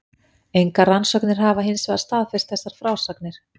Engar rannsóknir hafa hinsvegar staðfest þessar frásagnir.